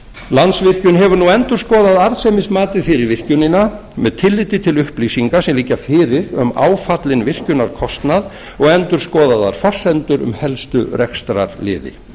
landsvirkjun hefur nú endurskoðað arðsemismatið fyrir virkjunina með tilliti til upplýsinga sem liggja fyrir um áfallinn virkjunarkostnað og endurskoðaðar forsendur um helstu rekstrarliði